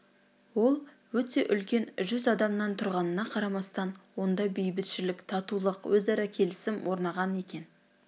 ол өте үлкен жүз адамнан тұрғанына қарамастан онда бейбітшілік татулық өзара келісім орнаған екен